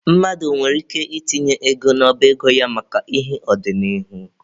Mmadụ nwere ike itinye ego n'ọba ego ya maka ihi ọdịnihu.